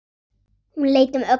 Hún leit um öxl.